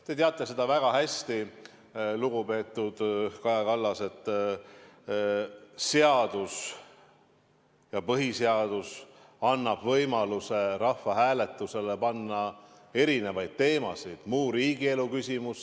Te teate seda väga hästi, lugupeetud Kaja Kallas, et seadus ja põhiseadus annab võimaluse rahvahääletusele panna erinevaid teemasid, "muid riigielu küsimusi".